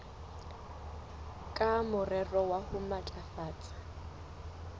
ka morero wa ho matlafatsa